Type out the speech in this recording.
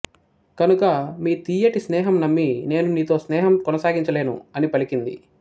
కనుక మీ తియ్యటి స్నేహం నమ్మి నేను నీతో స్నేహం కొనసాగించ లేను అని పలికింది